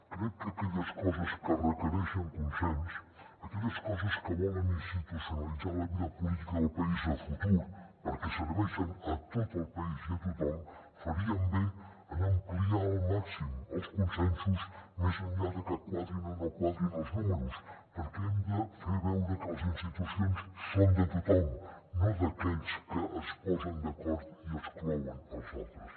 crec que en aquelles coses que requereixen consens aquelles coses que volen institucionalitzar la vida política del país a futur perquè serveixen a tot el país i a tothom farien bé en ampliar al màxim els consensos més enllà de que quadrin o no quadrin els números perquè hem de fer veure que les institucions són de tothom no d’aquells que es posen d’acord i exclouen els altres